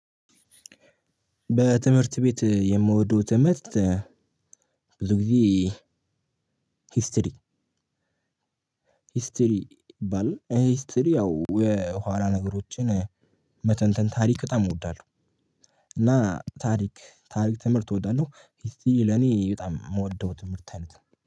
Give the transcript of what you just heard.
በትምህርት ቤት የምወደው ትምህርት ብዙ ጊዜ ሂስትሪ ሂስትሪ ባል ሂስትሪ ያው የኅላ ነገሮችን መተንተን ታሪክ በጣም እወዳለሁ። እና ታሪክ ታሪክ ትምህርት እወዳለሁ ሂስትሪ ለኔ በጣም ምወደው ትምህርት አይነት ነው